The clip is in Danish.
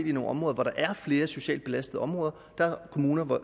i nogle områder hvor der er flere socialt belastede områder og der er kommuner der